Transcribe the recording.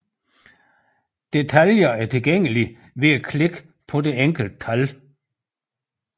Detaljer er tilgængelige ved at klikke på det enkelte tal